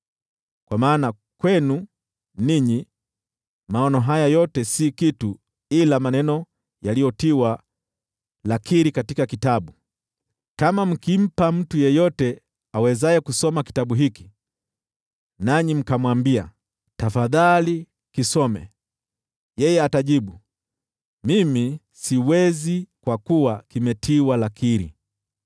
Kwa maana kwenu ninyi, maono haya yote si kitu ila maneno yaliyotiwa lakiri katika kitabu. Kama mkimpa mtu yeyote awezaye kusoma kitabu hiki, nanyi mkamwambia, “Tafadhali kisome,” yeye atajibu, “Mimi siwezi, kwa kuwa kimetiwa lakiri.”